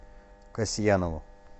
касьянову